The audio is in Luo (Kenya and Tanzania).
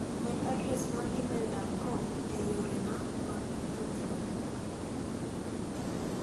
Med adres mar imel dancom ei yore na mag tudruok.